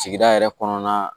Sigida yɛrɛ kɔnɔna